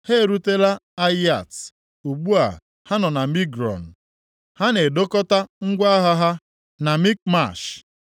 Ha erutela Ayịat; ugbu a, ha nọ na Migrọn. Ha na-edokọta ngwa agha ha na Mikmash.